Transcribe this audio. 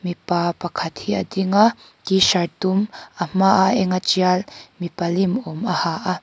mipa pakhat hi a ding a t-shirt dum a hma a eng a ṭial mipa lim awm a ha a.